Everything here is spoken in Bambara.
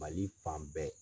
Mali fan bɛɛ.